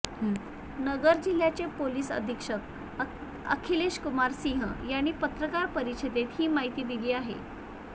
नगर जिल्ह्याचे पोलीस अधिक्षक अखिलेश कुमार सिंह यांनी पत्रकार परिषदेत ही माहिती दिली आहे